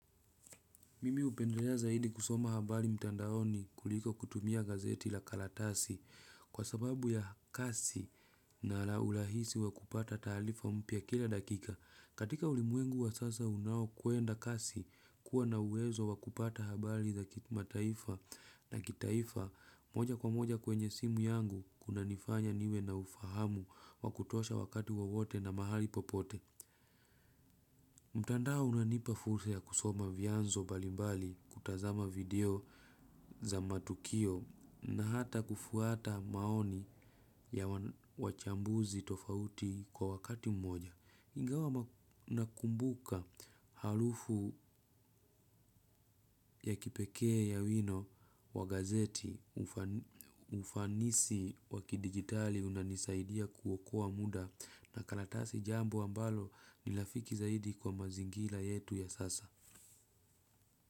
Mimi hupendelea zaidi kusoma habari mtandaoni kuliko kutumia gazeti la karatasi kwa sababu ya kasi na ala urahisi wa kupata taalifa mpya kila dakika. Katika ulimwengu wa sasa unaokwenda kasi, kuwa na uwezo wa kupata habari za kimataifa na kitaifa moja kwa moja kwenye simu yangu kunanifanya niwe na ufahamu wa kutosha wakati wowote na mahali popote. Mtandao unanipa fursa ya kusoma vianzo mbali mbali, kutazama video za matukio na hata kufuata maoni ya wachambuzi tofauti kwa wakati mmoja. Ingawa nakumbuka harufu ya kipekee ya wino wa gazeti, ufanisi wa kidijitali unanisaidia kuokoa muda na karatasi jambo ambalo ni rafiki zaidi kwa mazingira yetu ya sasa.